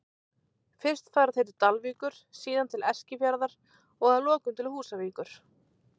Fyrst fara þeir til Dalvíkur, síðan til Eskifjarðar og að lokum til Húsavíkur.